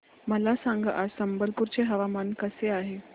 मला सांगा आज संबलपुर चे हवामान कसे आहे